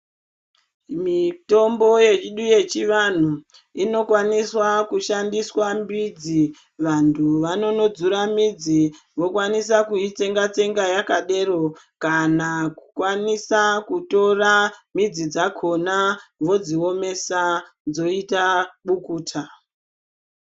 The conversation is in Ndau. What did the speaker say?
Mitombo yedu yechivantu inokwaniswa kushandiswa mbidzi vantu vanonodzura mbidzi vokwanisa kuitsenga tsenga yakadero kana kukwanisa kutora midzi dzakona vodziomesa dzoita bukuta.